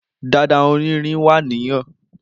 Dada onirin wa ni han.